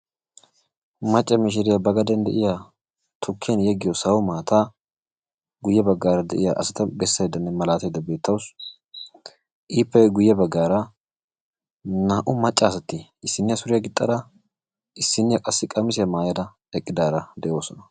Macca mishiriya ba gaden de"iya tukkiyan yeggiyo sawo maataa guyye baggara de'iyaa asata bessayddanne malataydda beettawusu. ippe guye bagaara naa"u maccaasati issinniya suriya gixxada issiniya qassi qamissiya mayada eqidara de'oosona.